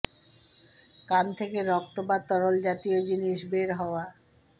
কান থেকে রক্ত বা তরল জাতীয় জিনিস বের হওয়া